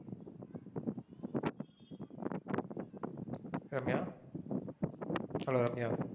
Ramya hello Ramya.